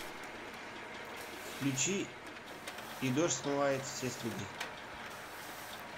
включи и дождь смывает все следы